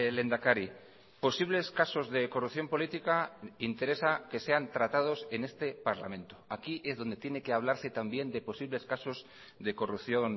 lehendakari posibles casos de corrupción política interesa que sean tratados en este parlamento aquí es donde tiene que hablarse también de posibles casos de corrupción